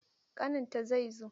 Ƙaninta zai zo.